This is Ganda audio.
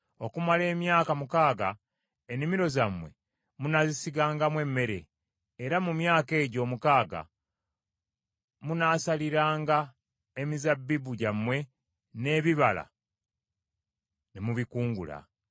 Okumala emyaka mukaaga ennimiro zammwe munaazisigangamu emmere, era mu myaka egyo omukaaga munaasaliranga emizabbibu gyammwe n’ebibala ne mubikungula.